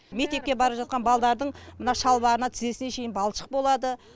мектепке бара жатқан балдардың мына шалбарына тізесіне шейін балшық болады